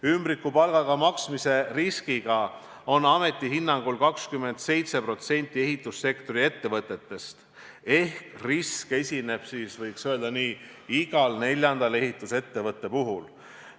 Ümbrikupalgaga maksmise risk on ameti hinnangul olemas 27%-l ehitussektori ettevõtetest ehk see risk esineb, võiks öelda, iga neljanda ehitusettevõtte puhul.